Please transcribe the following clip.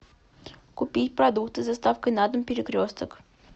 купить продукты с доставкой на дом перекресток